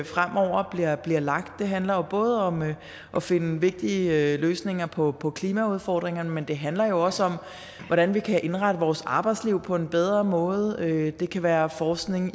fremover bliver lagt det handler både om at finde vigtige løsninger på på klimaudfordringerne men det handler også om hvordan vi kan indrette vores arbejdsliv på en bedre måde det kan være forskning